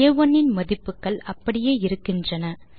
ஆ1 இன் மதிப்புகள் அப்படியே இருக்கின்றன